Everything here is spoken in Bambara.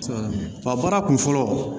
Ba baara kun fɔlɔ